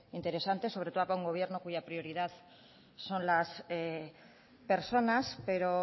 interesante sobre todo para un gobierno cuya prioridad son las personas pero